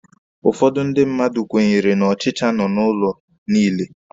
Ụfọdụ ndị mmadụ kwenyere na ọchicha nọ n'ụlọ niile.